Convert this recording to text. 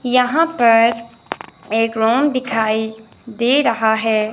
यहां पर एक रूम दिखाई दे रहा है।